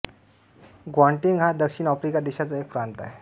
Gauteng हा दक्षिण Africa देशाचा एक प्रांत आहे